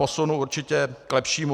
Posunu určitě k lepšímu.